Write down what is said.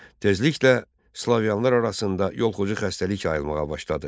Tezliklə Slavyanlar arasında yoluxucu xəstəlik yayılmağa başladı.